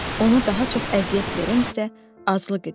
Ona daha çox əziyyət verən isə aclıq idi.